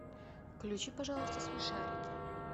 включи пожалуйста смешарики